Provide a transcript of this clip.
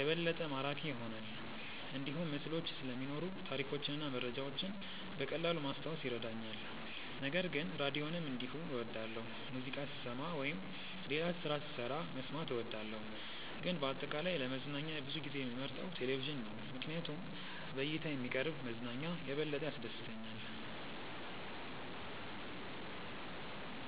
የበለጠ ማራኪ ይሆናል። እንዲሁም ምስሎች ስለሚኖሩ ታሪኮችን እና መረጃዎችን በቀላሉ ማስታወስ ይረዳኛል። ነገር ግን ራዲዮንም እንዲሁ እወዳለሁ፣ ሙዚቃ ስሰማ ወይም ሌላ ስራ ስሰራ መስማት እወዳለሁ። ግን በአጠቃላይ ለመዝናኛ ብዙ ጊዜ የምመርጠው ቴሌቪዥን ነው ምክንያቱም በእይታ የሚቀርብ መዝናኛ የበለጠ ያስደስተኛል።